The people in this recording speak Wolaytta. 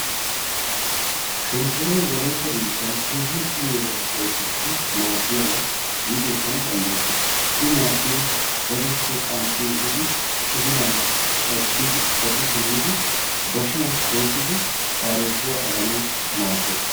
Shonkoray wolaytta biittani keehin uyiyobattu oosuwassi maadiyaba giidi ekkana dandayettes. I maadiyoy gadeppe qanxi ehiddi udulan cadidi simidi bashiyan koosidi qaarebuwaa aganawu maades.